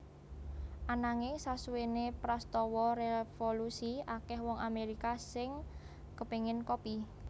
Ananging sasuwene prastawa revolusi akeh wong Amerika sing kepengen kopi